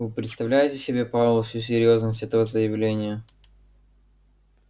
вы представляете себе пауэлл всю серьёзность этого заявления